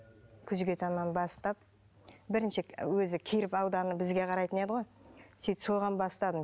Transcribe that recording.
күзге таман бастап бірінші өзі келіп бізге қарайтын еді ғой сөйтіп соған бастадым